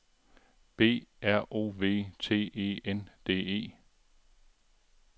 B R O V T E N D E